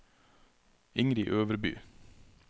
Ingrid Øverby